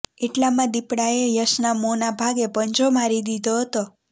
એટલામાં દીપડાએ યશના મોંના ભાગે પંજો મારી દીધો હતો